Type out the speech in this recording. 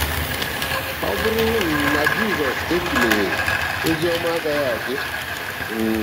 Ọ bụrụ um na Jizọs ekulighi, ozi ọma agaghị adị um